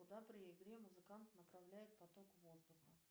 куда при игре музыкант направляет поток воздуха